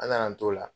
An nana t'o la